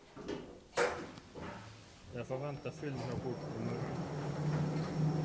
Jeg forventer full rapport i morgen.